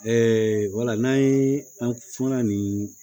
wala n'an ye an kuma na nin